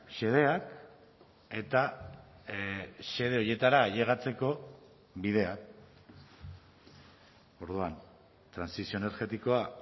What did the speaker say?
xedeak eta xede horietara ailegatzeko bidea orduan trantsizio energetikoa